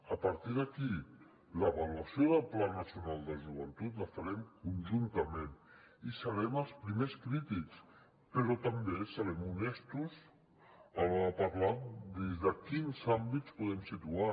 a partir d’aquí l’avaluació del pla nacional de joventut la farem conjuntament i serem els primers crítics però també serem honestos a l’hora de parlar des de quins àmbits ho podem situar